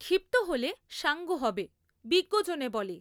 ক্ষিপ্ত হলে সাঙ্গ হবে বিজ্ঞজনে বলে